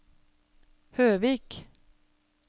Høvik